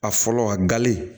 A fɔlɔ a gali